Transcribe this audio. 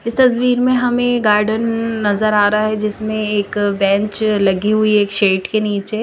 इस तस्वीर में हमे गार्डन नजर आ रहा है जिसमे एक बेंच लगी हुई है एक शेट के निचे--